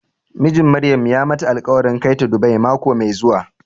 Mijin Maryam ya mata alƙwarin kai ta Dubai mako mai zuwa.